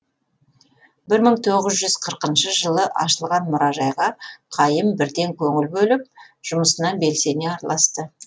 бір мың тоғыз жүз қырқыншы жылы ашылған мұражайға қайым бірден көңіл бөліп жұмысына белсене араласты